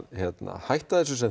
hætta þessu sem